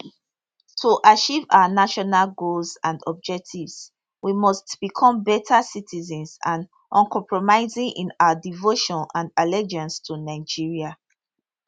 to achieve our national goals and objectives we must become better citizens and uncompromising in our devotion and allegiance to nigeria